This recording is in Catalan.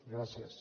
gràcies